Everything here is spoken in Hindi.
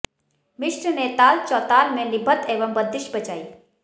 मिश्र ने ताल चौताल में निबद्ध एक बंदिश बजाई